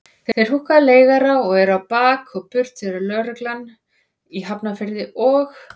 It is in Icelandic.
Þeir húkka leigara og eru á bak og burt þegar lögreglan í Hafnarfirði og